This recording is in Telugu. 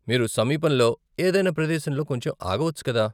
మీరు సమీపంలో ఏదైనా ప్రదేశంలో కొంచెం ఆగవచ్చు కదా?